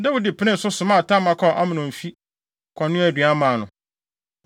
Dawid penee so, somaa Tamar kɔɔ Amnon fi, kɔnoaa aduan maa no.